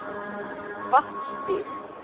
Vatnsstíg